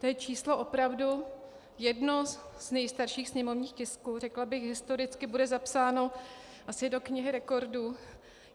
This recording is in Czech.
To je číslo opravdu jedno z nejstarších sněmovních tisků, řekla bych, historicky bude zapsáno asi do knihy rekordů.